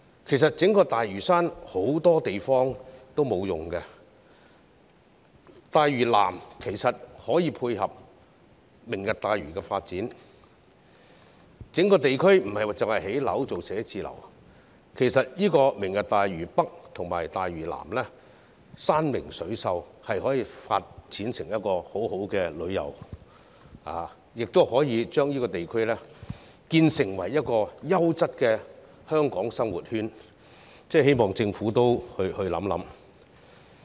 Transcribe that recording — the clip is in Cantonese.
其實，整個大嶼山很多地方也沒有使用，大嶼南可以配合"明日大嶼"的發展，整個地方不只可用作建屋、建寫字樓，大嶼北和大嶼南山明水秀，可以發展成一個很好的旅遊地區，打造成一個優質的香港生活圈，我希望政府加以考慮。